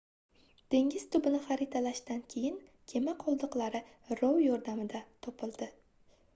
dengiz tubini xaritalashdan keyin kema qoldiqlari rov yordamida topildi